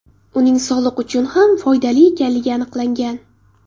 Uning sog‘liq uchun ham foydali ekanligi aniqlangan.